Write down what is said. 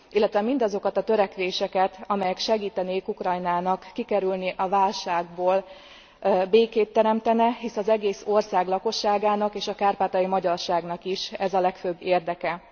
Illetve mindazokat a törekvéseket, amelyek segítenék Ukrajnát kikerülni a válságból, békét teremtenének, hisz az egész ország lakosságának és a kárpátaljai magyarságnak is ez a legfőbb érdeke.